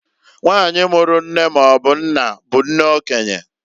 Nwanyị mụrụ nne maọbụ nna bụ nne okenye.